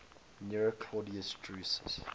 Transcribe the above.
nero claudius drusus